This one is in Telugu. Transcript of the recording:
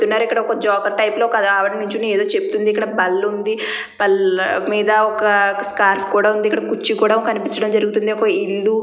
ఇక్కడ ఒక జోకర్ టైప్ లో ఒక ఆవిడ నుంచొని ఏదో చెబుతూ ఉంది. ఇక్కడ పని ఉంది. పళ్ళు మీద ఏదో ఒక స్కార్ఫ్ ఉంది. ఇక్కడ ఒక కుర్చీ కూడా కనిపించడం జరుగుతుంది.